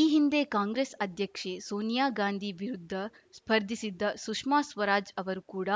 ಈ ಹಿಂದೆ ಕಾಂಗ್ರೆಸ್‌ ಅಧ್ಯಕ್ಷೆ ಸೋನಿಯಾ ಗಾಂಧಿ ವಿರುದ್ಧ ಸ್ಪರ್ಧಿಸಿದ್ದ ಸುಷ್ಮಾ ಸ್ವರಾಜ್‌ ಅವರು ಕೂಡ